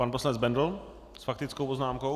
Pan poslanec Bendl s faktickou poznámkou.